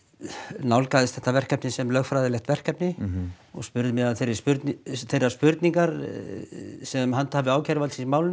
nálgaðist þetta verkefni sem lögfræðilegt verkefni og spurði mig að þeirri spurningu þeirri spurningu sem handhafi ákæruvaldsins í málinu